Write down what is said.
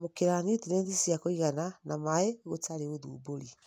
kwamũkĩra niutrienti cia kũigana na maĩ gũtarĩ ũthumbũri.